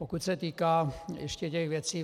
Pokud se týká ještě těch věcí.